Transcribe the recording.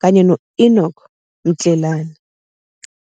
kanye no Enoch Mtlelane.